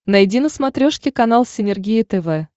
найди на смотрешке канал синергия тв